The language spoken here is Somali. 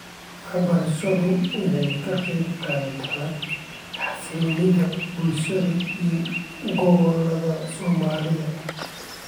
Waxbarashadu waxa ay ka qayb qaadatay xasiloonida bulsho ee gobolada Soomaalida.